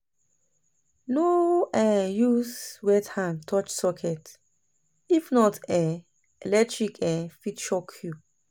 No um use wet hand touch socket, if not, um electric um fit shock you.